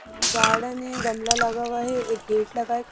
Garden है गमला लगा हुआ है एक गेट लगा है।